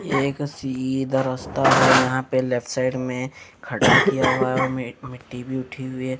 यह एक सीधा रास्ता है यहां पे लेफ्ट साइड में खड्डा किया हुआ है उनमें एक मिट्टी भी उठी हुई है।